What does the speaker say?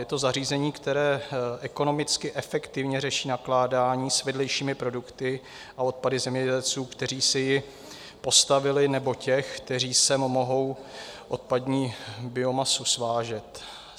Je to zařízení, které ekonomicky efektivně řeší nakládání s vedlejšími produkty a odpady zemědělců, kteří si ji postavili, nebo těch, kteří sem mohou odpadní biomasu svážet.